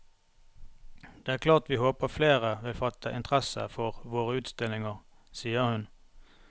Det er klart vi håper flere vil fatte interesse for våre utstillinger, sier hun.